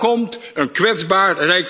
En dan komt een kwetsbaar